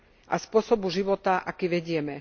a spôsobu života, aký vedieme.